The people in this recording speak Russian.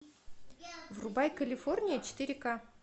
врубай калифорния четыре ка